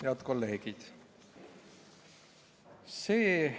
Head kolleegid!